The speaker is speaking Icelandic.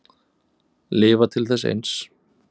Lifa til þess eins.